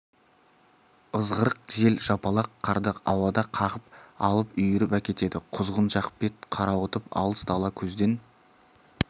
ызғырық жел жапалақ қарды ауада қағып алып үйіріп әкетеді құзғын жақ бет қарауытып алыс дала көзден